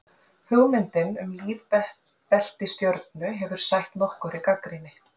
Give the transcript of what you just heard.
Hugmyndin um lífbelti stjörnu hefur sætt nokkurri gagnrýni.